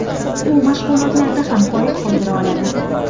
U mashg‘ulotlarda ham qoyil qoldira oladi.